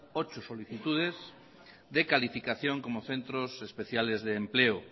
ocho solicitudes de calificación como centros especiales de empleo